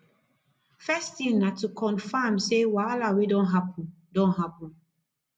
first tin na to confam sey wahala wey don hapun don hapun